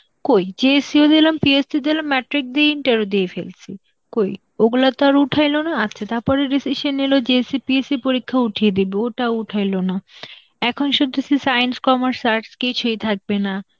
কই JSC ও দিলাম, CST দিলাম, matric দিয়ে inter ও দিয়ে ফেলসি. কই ওইগুলাতো আর উঠাইলো না. আচ্ছা তারপরে decision নিল যে CPSC পরীক্ষা উঠিয়ে দিব, ওইটা ও উঠায়লোনা. এখন শুনতেছি science, commerce, Arts কিছুই থাকবে না.